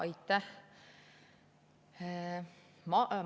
Aitäh!